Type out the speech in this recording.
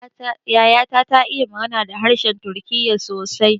Yaya ta ta iya magana da harshen turkiya sosai